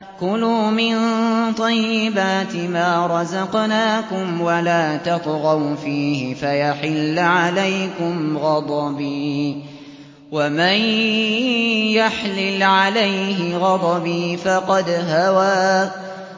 كُلُوا مِن طَيِّبَاتِ مَا رَزَقْنَاكُمْ وَلَا تَطْغَوْا فِيهِ فَيَحِلَّ عَلَيْكُمْ غَضَبِي ۖ وَمَن يَحْلِلْ عَلَيْهِ غَضَبِي فَقَدْ هَوَىٰ